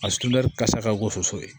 A kasa ka ko soso ye